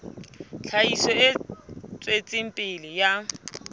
tlhahiso e tswetseng pele ya